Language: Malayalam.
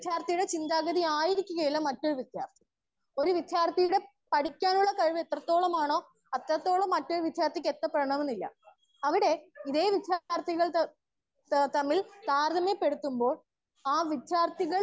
സ്പീക്കർ 1 ഒര്‌ വിദ്യാർത്തിയുടെ ചിന്താഗതി ആയിരിക്കില്ല മറ്റൊരു വിദ്യാർത്തിക്ക് ഒര്‌ വിദ്യാർത്തിയുടെ പഠിക്കാനുള്ള കഴിവ് എത്രെ തോളമാണോ അത്രേത്തോളം മറ്റൊരു വിദ്യാർത്തിക്ക് എത്തണമെന്നില്ല. അവിടെ ഇതെ വിദ്യാർഥികൾ തമ്മിൽ താരതമ്യ പെടുത്തുമ്പോൾ ആ വിദ്യാർത്ഥികൾ.